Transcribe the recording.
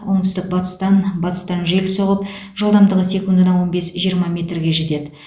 оңтүстік батыстан батыстан жел соғып жылдамдығы секундына он бес жиырма метрге жетеді